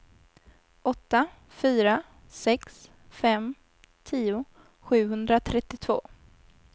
åtta fyra sex fem tio sjuhundratrettiotvå